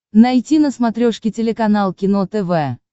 найти на смотрешке телеканал кино тв